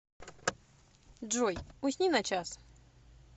джой усни на час